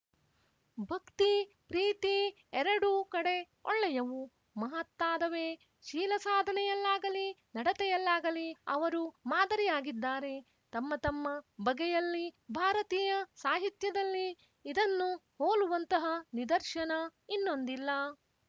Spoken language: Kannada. ಭಕ್ತಿ ಪ್ರೀತಿ ಎರಡೂ ಕಡೆ ಒಳ್ಳೆಯವು ಮಹತ್ತಾದವೇ ಶೀಲಸಾಧನೆಯಲ್ಲಾಗಲಿ ನಡತೆಯಲ್ಲಾಗಲಿ ಅವರು ಮಾದರಿಯಾಗಿದ್ದಾರೆ ತಮ್ಮ ತಮ್ಮ ಬಗೆಯಲ್ಲಿ ಭಾರತೀಯ ಸಾಹಿತ್ಯದಲ್ಲಿ ಇದನ್ನು ಹೋಲುವಂತಹ ನಿದರ್ಶನ ಇನ್ನೊಂದಿಲ್ಲ